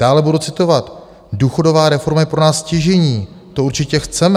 Dále budu citovat: "Důchodová reforma je pro nás stěžejní, to určitě chceme."